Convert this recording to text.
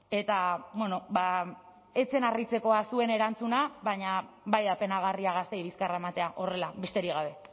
eta ez zen harritzekoa zuen erantzuna baina bai da penagarria gazteei bizkarra ematea horrela besterik gabe